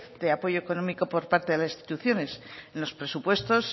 de apoyo económico por parte de las instituciones en los presupuestos